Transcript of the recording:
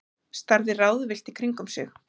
Starði ráðvillt í kringum sig.